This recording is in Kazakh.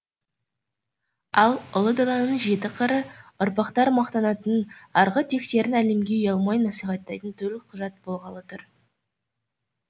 ал ұлы даланың жеті қыры ұрпақтар мақтанатын арғы тектерін әлемге ұялмай насихаттайтын төлқұжат болғалы тұр